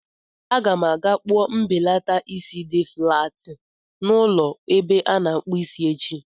Aga m aga kpụọ mbelata isi dị flaat n'ụlọ ebe a na-akpụ isi echi.